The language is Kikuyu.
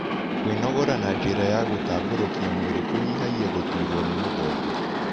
Kwĩnogora na njĩra ya gũtambũrũkĩa mwĩrĩ kũnyĩhagĩa gũtũrwo nĩ mũgongo